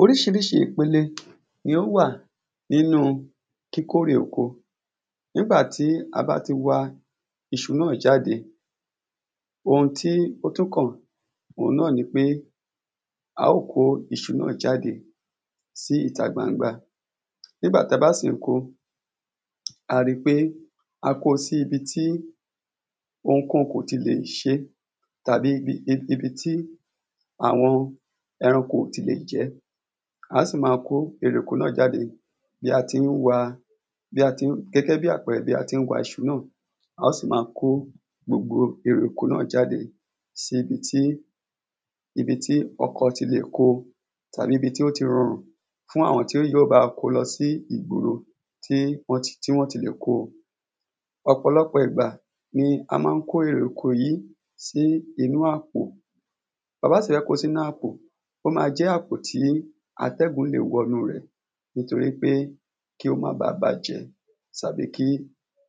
oríṣiríṣi ìpele ni ó wà nínú kíkórè oko nígbà tí a bá ti wa iṣu náà jáde, ohun tí ó tún kàn òhun náà ni pé a ó kó iṣu náà jáde sí ìta gbangba nígbà tí a bá sì ń ko a rí pé a ko sí ibi tí ohun kóhun kò ti lè ṣé tàbí ibí tí àwọn ẹranko ò ti lè jẹ́ á sì maa kó erè oko náà jáde gẹ́gẹ́ bí àpẹrẹ bí a tí ń wa iṣu náà a ó sì ma kó gbogbo erè oko náà jáde sí ibi tí ọkọ̀ ti lè ko tàbí ibi tí ó ti rọrùn fún àwọn tí yóò bá wa ko lọ sí ìgboro tí wọ́n ti lè ko ọ̀pọ̀lọpọ̀ ìgbà ni a máa ń kó èrè oko yìí sí inú àpò ta bá sì fẹ́ ko sínú àpò, ó ma jẹ́ inú àpò tí atẹ́gùn lè wọnú rẹ̀ nítorí pé kí ó má ba bàjẹ́ tàbí kí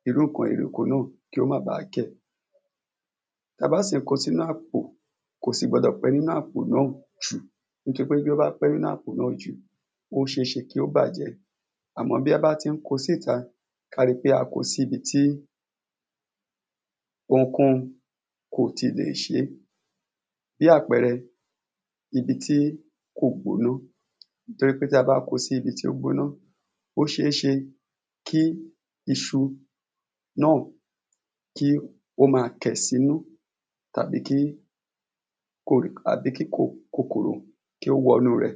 irú ǹkan erè oko náà kó má ba kẹ̀ ta bá sì ko sínú àpò kò sì gbọdọ̀ pẹ́ nínú àpò náà jù nítorí pé bí ó bá pẹ́ nínú àpò náà jù ó ṣeéṣe kí ó bàjẹ́ àmọ́ bí a bá ti ń ko síta ká ri pé a ko sí ibi tí ohunkóhun kò ti lè ṣé, bí àpẹrẹ ibi tí kò gbóná torí pé tí a bá ko sí ibi tí ó gbóná ó ṣeéṣe kí iṣu náà kí ó máa kẹ̀ sínú tàbí kí kòkòrò kí ó wọ inúu rẹ̀